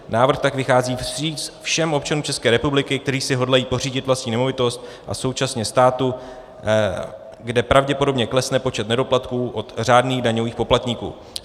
Návrh tak vychází vstříc všem občanům České republiky, kteří si hodlají pořídit vlastní nemovitost, a současně státu, kde pravděpodobně klesne počet nedoplatků od řádných daňových poplatníků.